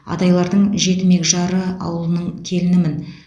адайлардың жетімек жары ауылының келінімін